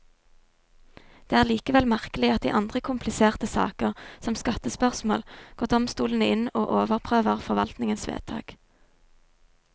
Det er likevel merkelig at i andre kompliserte saker, som skattespørsmål, går domstolene inn og overprøver forvaltningens vedtak.